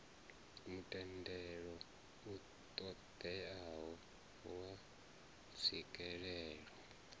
mutendelo u ṱoḓeaho wa tswikelelo